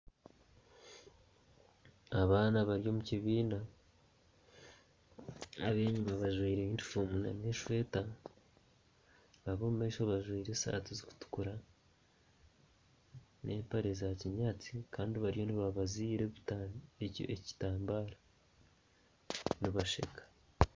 Abaana bari omu kibiina ab'enyima bajwaire yunifoomu n'esweeta ab'omu maisho bajwaire esaati zikutukura n'empare za kinyaatsi kandi bariyo nibabazira ekitambara nibasheka.